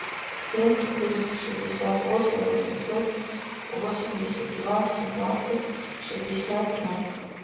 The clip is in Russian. семь четыреста шестьдесят восемь восемьсот восемьдесят два семнадцать шестьдесят ноль